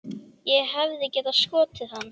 Ég hefði getað skotið hann.